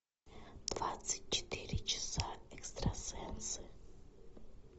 двадцать четыре часа экстрасенсы